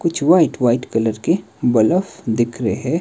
कुछ white white colour के बलफ दिख रहे हैं।